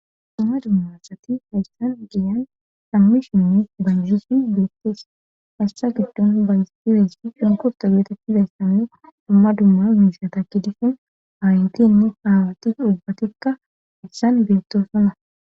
dumma dummassati hayssan giyan sammi shinni banjusin beestes hayssa giddon bayssizeyssa sunkurta geetettizayssannu dumma dumma miisha takki disin haayintinne haawati dubbatikka issan beettosana